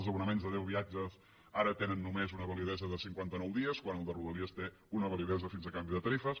els abonaments de deu viatges ara tenen només una validesa de cinquanta nou dies quan el de rodalies té una validesa fins a canvi de tarifes